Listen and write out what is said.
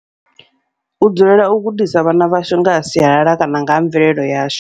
U dzulela u gudisa vhana vhashu ngaha sialala kana ngaha mvelele yashu.